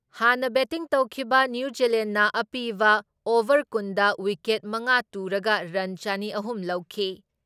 ꯍꯥꯟꯅ ꯕꯦꯇꯤꯡ ꯇꯧꯈꯤꯕ ꯅ꯭ꯌꯨꯖꯤꯂꯦꯟꯗꯅ ꯑꯄꯤꯕ ꯑꯣꯚꯔ ꯀꯨꯟ ꯗ ꯋꯤꯀꯦꯠ ꯃꯉꯥ ꯇꯨꯔꯒ ꯔꯟ ꯆꯅꯤ ꯑꯍꯨꯝ ꯂꯧꯈꯤ ꯫